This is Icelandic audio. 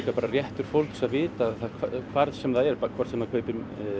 bara réttur fólks að vita hvar sem það er hvort sem það kaupir